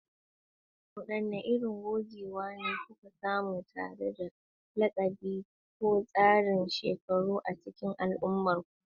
Wadanne irin gogewa kuka samu tare da lakabi ko tsarin shekaru a cikin al'ummarku?